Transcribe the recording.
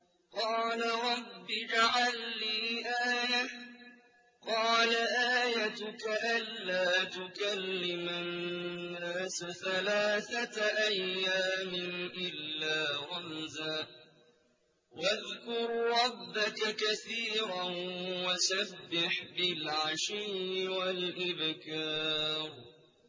قَالَ رَبِّ اجْعَل لِّي آيَةً ۖ قَالَ آيَتُكَ أَلَّا تُكَلِّمَ النَّاسَ ثَلَاثَةَ أَيَّامٍ إِلَّا رَمْزًا ۗ وَاذْكُر رَّبَّكَ كَثِيرًا وَسَبِّحْ بِالْعَشِيِّ وَالْإِبْكَارِ